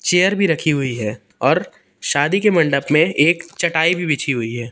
Chair भी रखी हुई है और शादी के मंडप में एक चटाई भी बिछी हुई है।